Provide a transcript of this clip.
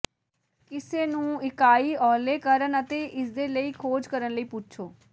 ਕਿਸੇ ਨੂੰ ਇਕਾਈ ਓਹਲੇ ਕਰਨ ਅਤੇ ਇਸ ਦੇ ਲਈ ਖੋਜ ਕਰਨ ਲਈ ਪੁੱਛੋ